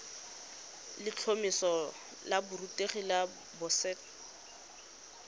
letlhomeso la borutegi la boset